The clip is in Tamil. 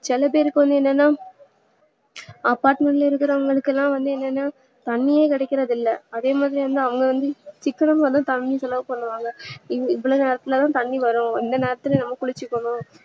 சில பேருக்கு என்னனா apartment ல இருக்கரவங்களுக்களா என்னனா தண்ணியே கிடைக்கிறது இல்ல அதே மாதிரி அவங்க வந்து சிக்கனமாத தண்ணீ செலவு பன்றாங்க இல்ல இவ்ளோ நேரத்துலதா தண்ணீ வரும் இந்த நேரத்துல நாம குளிச்சிக்கணும்